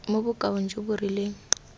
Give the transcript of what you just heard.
mo bokaong jo bo rileng